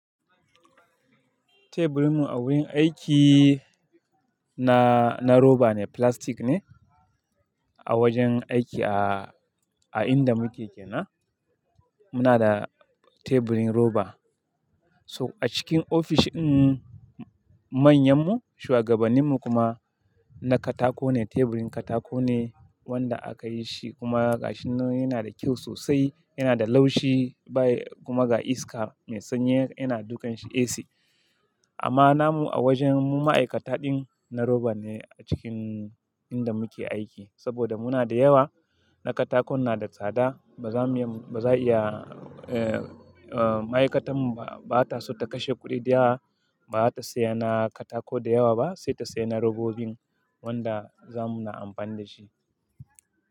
Teburinmu a wurin aiki na, na roba ne, flastic ne. A wajen aiki a, a inda muke kenan, muna da teburin roba. So a cikin ofishin manyanmu shugabaninmu kuma na katako ne, teburin katako ne wanda aka yi shi kuma gashin nan yana da kyau sosai, yana da laushi baya kuma ga iska mai sanyi yana dukan shi AC. Amma namu a wajen mu ma'aikata din na roba ne a cikin inda muke aiki. Saboda muna da yawa, na katako na da tsada ba za mu iya, ba za iya, eh, eh, ma'aikatar mu ba, ba ta so ta kashe kuɗi da yawa, ba za ta saya na katako da yawa ba sai ta saya na robobin wanda za mu na amfani da shi.